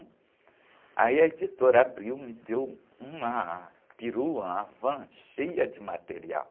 Aí a editora Abril, me deu uma perua, uma van cheia de material.